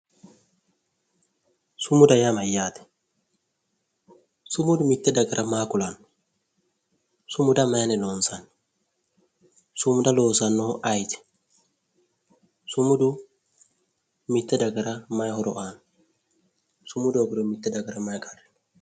sumuda yaa mayyaate? sumudu mitte dagara maa kulanno? sumuda mayinni loonsanni? sumuda loosannohu ayiti? sumudu mitte dagara mayi horo aanno? sumudu hoogiro mitte dagara mayi qarri heeranno?